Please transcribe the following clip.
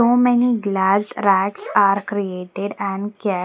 So many glass racks are created and kept.